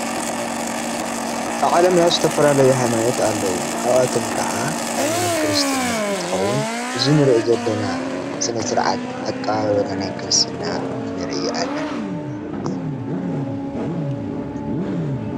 ብዓለም ናይ ዝተፈላለዩ ኃይማኖት ኣለዉ ካብኣቶም ከዓ ኃይማኖት ክርስትና እንተኸውን ብዝንርእ ዘለና ስነ ሥርዓት ኣቃባብራ ናይ ክርስትና ንርኢ ኣለና።